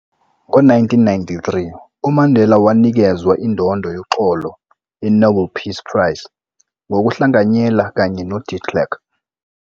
Ngo 1993, uMandela wanikezwa indondo yoxolo ye-Nobel Peace Prize ngokuhlanganyela kanye noDe Klerk.